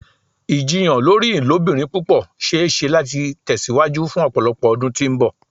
Ijiyàn lori ilobirin pupọ ṣee ṣe lati tẹsiwaju fun ọpọlọpọ ọdun ti mbọ.